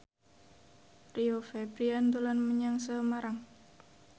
Rio Febrian dolan menyang Semarang